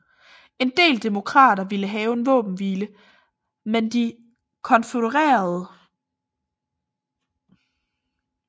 En del Demokrater ville have en våbenhvile med de konfødererede